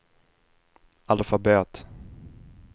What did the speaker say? alfabet